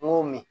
N ko min